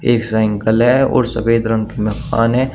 एक साईंकल है और सफेद रंग में है।